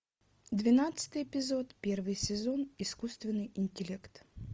двенадцатый эпизод первый сезон искусственный интеллект